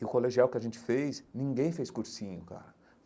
E o colegial que a gente fez, ninguém fez cursinho, cara.